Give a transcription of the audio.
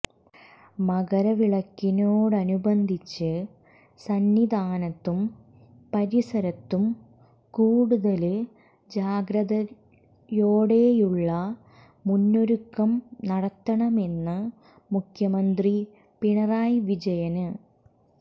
മകര വിളക്കിനോടനുബന്ധിച്ച് സന്നിധാനത്തും പരിസരത്തും കൂടുതല് ജാഗ്രതയോടെയുള്ള മുന്നൊരുക്കം നടത്തണമെന്ന് മുഖ്യമന്ത്രി പിണറായി വിജയന്